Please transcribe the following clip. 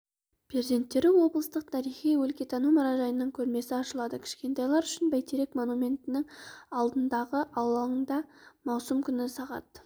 перзенттері облыстық тарихи-өлкетану мұражайының көрмесі ашылады кішкентайлар үшін бәйтерек монументінің алдындағы алаңда маусым күні сағат